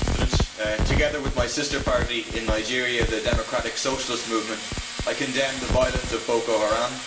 Mr President, together with my sister party in Nigeria, the Democratic Socialist Movement, I condemn the violence of Boko Haram.